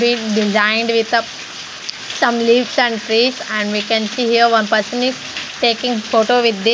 is designed with up some leaves and trees and we can see a one person is taking photo with the --